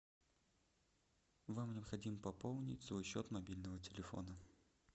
вам необходимо пополнить свой счет мобильного телефона